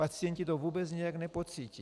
Pacienti to vůbec nijak nepocítí.